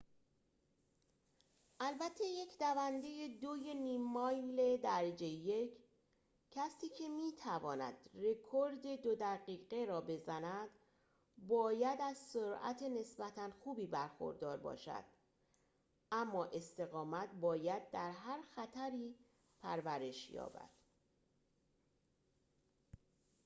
البته یک دونده دوی نیم مایل درجه یک کسی که می تواند رکورد دو دقیقه را بزند باید از سرعت نسبتاً خوبی برخوردار باشد اما استقامت باید در هر خطری پرورش یابد